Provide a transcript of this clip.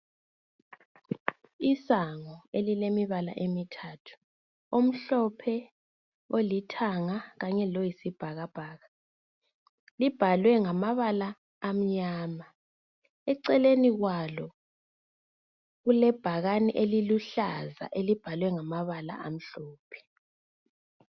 Isango elilemibala emithathu omhlophe, olithanga kanye loyisibhakabhaka. Libhalwe ngamabala amnyama eceleni kwalo kulebhakani eliluhlaza elibhalwe ngamabala amhlophe.